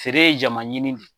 Feere ye jama ɲini de